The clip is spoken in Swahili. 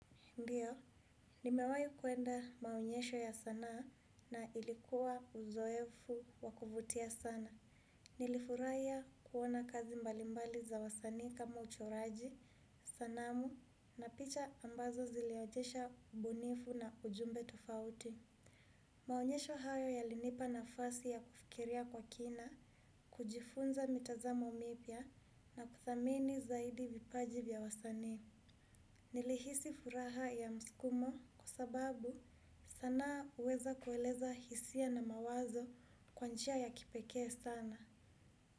Ndiyo, nimewahi kwenda maonyesho ya sanaa na ilikuwa uzoefu wa kuvutia sana. Nilifurahia kuona kazi mbalimbali za wasanii kama uchoraji, sanamu na picha ambazo ziliojesha ubunifu na ujumbe tofauti. Maonyesho hayo yalinipa nafasi ya kufikiria kwa kina, kujifunza mitazamo mipya na kuthamini zaidi vipaji vya wasanii. Nilihisi furaha ya msukumo kwa sababu sanaa huweza kueleza hisia na mawazo kwa njia ya kipekee sana.